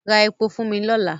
Ra epo fún mi lọ́la!